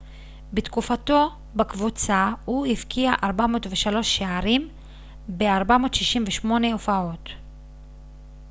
בתקופתו בקבוצה הוא הבקיע 403 שערים ב-468 הופעות